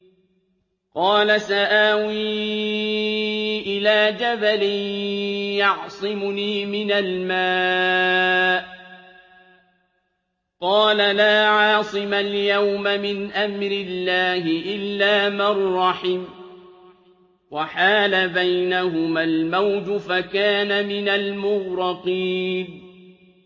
قَالَ سَآوِي إِلَىٰ جَبَلٍ يَعْصِمُنِي مِنَ الْمَاءِ ۚ قَالَ لَا عَاصِمَ الْيَوْمَ مِنْ أَمْرِ اللَّهِ إِلَّا مَن رَّحِمَ ۚ وَحَالَ بَيْنَهُمَا الْمَوْجُ فَكَانَ مِنَ الْمُغْرَقِينَ